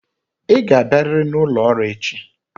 Ị ga-abịarịrị n'ụlọ ọrụ echi.